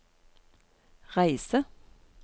reise